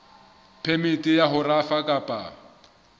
phemiti ya ho rafa kapa